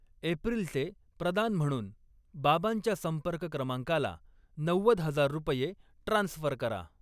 एप्रिलचे प्रदान म्हणून बाबांच्या संपर्क क्रमांकाला नव्वद हजार रुपये ट्रान्स्फर करा.